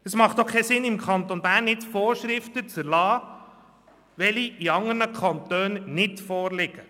Es hat auch keinen Sinn, im Kanton Bern Vorschriften zu erlassen, die in anderen Kantonen nicht gelten.